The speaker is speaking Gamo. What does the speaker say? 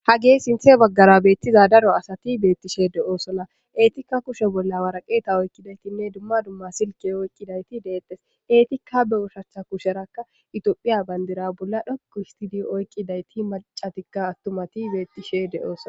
Hage sinte bagara betiza daro asati betishe do'osona etika kushe bola woraqata oykidine duma duma silike oykidayti betetes etika be ushacha kusheraka itopia bandiray bola dhoqu histidi oyqidayti mac'atika atumati betishe do'osona.